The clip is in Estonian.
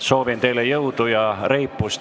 Soovin teile jõudu ja reipust!